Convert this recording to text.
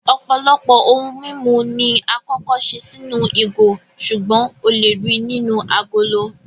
Ọ̀pọ̀lọpọ̀ ohun mímu ni àkọ́kọ́ ṣe sínú ìgò, ṣùgbọ́n o lè ríi nínú agolo